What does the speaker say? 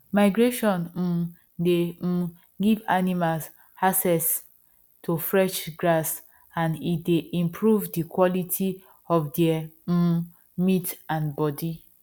migration um dey um give animals access to fresh grass and e dey improve the quality of there um meat and body